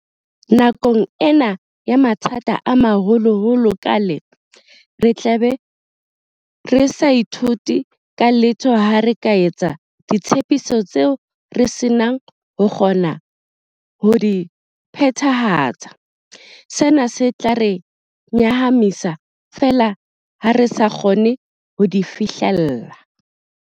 Nakong ena ya mathata a maholoholo ha kaale, re tlabe re sa ithuse ka letho ha re ka etsa ditshepiso tseo re senang ho kgona ho di phethahatsa, sena se tla re nyahamisa feela ha re sa kgone ho di fihlella.